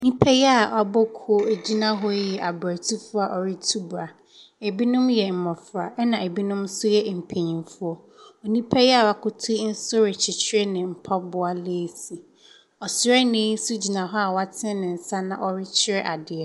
Nnipa yi a abɔ kuo gyina hɔ yi yɛ abratufoɔ a wɔretu bra. Ebinom yɛ mmɔfra na ebinom nso yɛ mpanimfoɔ. Onipa yi a woakoto yi nso rekyekyere ne mpaboa laase. Ɔsrani nso gyina hɔ a w'atene ne nsa na ɔrekyerɛ adeɛ.